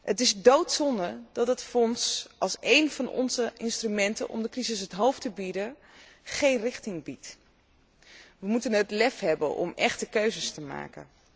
Het is doodzonde dat het fonds als een van onze instrumenten om de crisis het hoofd te bieden, geen richting biedt. We moeten het lef hebben om echte keuzes te maken.